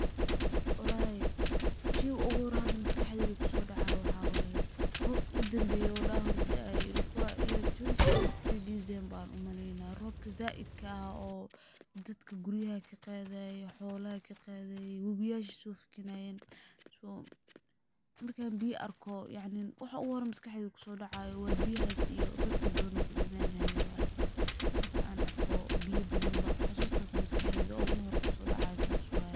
Walahi sheyga uguhoreyo hada maskaxdeydha kusodacayo waxaa waye, robki udanbeye darar hore daaye, ilikuwa twenty twenty three December an umaleynaah, robka zaidka oo dadka guriyaha kaqadaye, xola kaqadaye, webiyasha sofakinayen, markan biya arko yacnin waxaa ugu hiore maskaxdeyda kusodacayo wa biyahas iyo dadka badhan oo kudamanayen waye, marka an arko biya badhanba xusustas aa maskaxdeydha uguhoreyso kusodacayo tas waye.